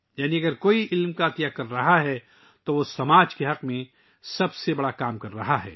یعنی اگر کوئی علم عطیہ کر رہا ہے تو وہ معاشرے کے مفاد میں بہترین کام کر رہا ہے